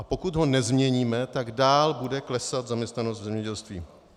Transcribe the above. A pokud ho nezměníme, tak dál bude klesat zaměstnanost v zemědělství.